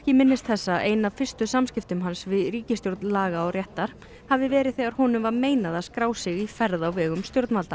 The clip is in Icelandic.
minnist þess að ein af fyrstu samskiptum hans við ríkisstjórn laga og réttar hafi verið þegar honum var meinað að skrá sig í ferð á vegum stjórnvalda